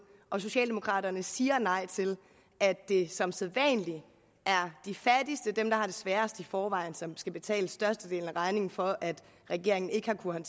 og socialdemokraterne siger nej til at det som sædvanlig er de fattigste dem der har det sværest i forvejen som skal betale størstedelen af regningen for at regeringen ikke har kunnet